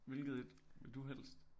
Hvilket et vil du helst